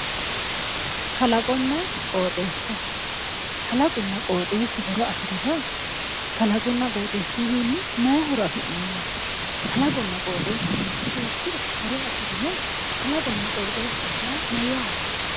Kalaqonna qooxeessa. Kalaqunna qooxeessu horo afirino? Kalaqunna qooxeessuyiwiinni mayi horo afi'neemmo? Kalaqonna qooxeessu manchi beettira horo afirino? Kalaqonna qooxeessaho yaa mayyaate?